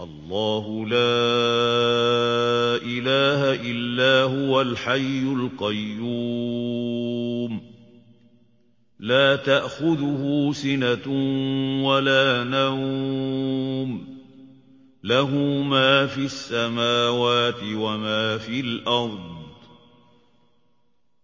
اللَّهُ لَا إِلَٰهَ إِلَّا هُوَ الْحَيُّ الْقَيُّومُ ۚ لَا تَأْخُذُهُ سِنَةٌ وَلَا نَوْمٌ ۚ لَّهُ مَا فِي السَّمَاوَاتِ وَمَا فِي الْأَرْضِ ۗ